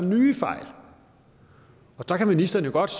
nye fejl der kan ministeren jo godt